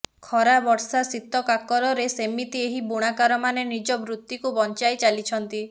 ଖରା ବର୍ଷା ଶୀତ କାକରରେ ସେମିତି ଏହି ବୁଣାକାରମାନେ ନିଜ ବୃତ୍ତିକୁ ବଞ୍ଚାଇ ଚାଲିଛନ୍ତି